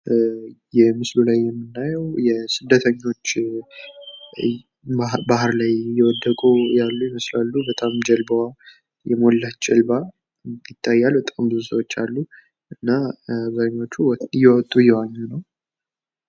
ይህ ምስሉ ላይ የምናየው ስደተኞች ባህር ላይ እየወደቁ ያሉ የመስላሉ በጣም ጀልባዋ የሞላች ጀልባ ይታያል። በጣም ብዙ ሰዎች አሉ። እና ስደተኞቹ እየወጡ እየዋኙ ነው።